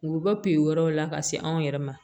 U bɛ bɔ pipu wɛrɛw la ka se anw yɛrɛ ma